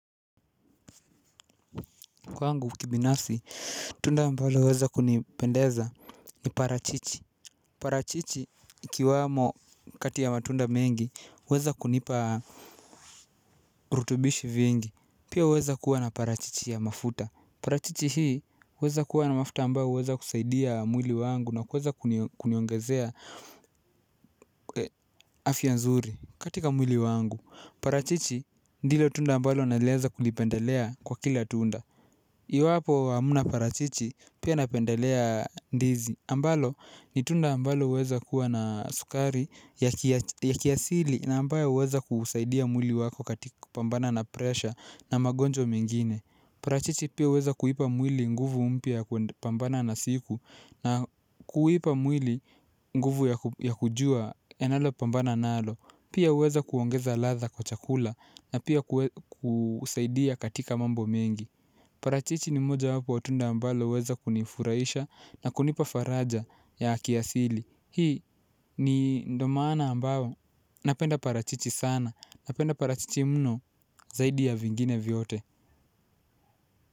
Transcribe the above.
Kwangu kibinafsi tunda ambalo huweza kunipendeza ni parachichi. Parachichi ikiwamo kati ya matunda mengi huweza kunipa rutubishi vingi. Pia huweza kuwa na parachichi ya mafuta. Parachichi hii huweza kuwa na mafuta ambayo huweza kusaidia mwili wangu na kuweza kuniongezea afya nzuri. Katika mwili wangu. Parachichi ndilo tunda ambalo naweza kulipendelea kwa kila tunda. Iwapo hamna parachichi pia napendelea ndizi, ambalo ni tunda ambalo huweza kuwa na sukari ya kiasili na ambayo huweza kusaidia mwili wako katika ku pambana na pressure na magonjwa mengine. Parachichi pia huweza kuipa mwili nguvu mpya ya kupambana na siku na kuipa mwili nguvu ya kujua yanalo pambana nalo. Pia huweza kuongeza ladha kwa chakula na pia kusaidia katika mambo mengi. Parachichi ni mojawapo wa tunda ambalo huweza kunifurahisha na kunipa faraja ya kiasili. Hii ndio maana ambayo napenda parachichi sana, napenda parachichi mno zaidi ya vingine vyote.